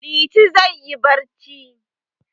Liti zai yi barci.